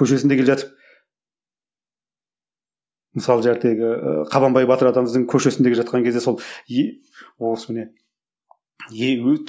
көшесінде келе жатып мысалы ыыы қабанбай батыр атамыздың көшесінде келе жатқан кезде сол